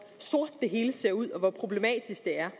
sort det hele ser ud og hvor problematisk det er